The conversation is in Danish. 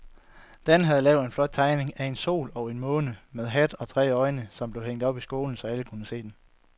Dan havde lavet en flot tegning af en sol og en måne med hat og tre øjne, som blev hængt op i skolen, så alle kunne se den.